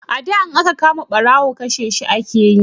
a da in an kama barawo kashe shi ake yi